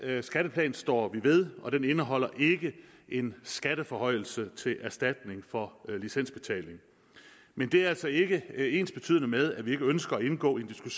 skatteplan står vi ved og den indeholder ikke en skatteforhøjelse til erstatning for licensbetaling men det er altså ikke ensbetydende med at vi ikke ønsker at indgå i